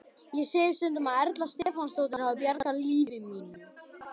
Ég segi stundum að Erla Stefánsdóttir hafi bjargað lífi mínu.